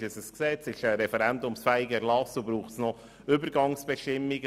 Ist es ein Gesetz oder ein referendumsfähiger Erlass, und braucht es noch Übergangsbestimmungen?